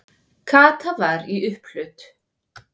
Kata var í upphlut.